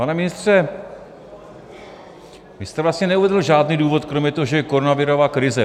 Pane ministře, vy jste vlastně neuvedl žádný důvod kromě toho, že je koronavirová krize.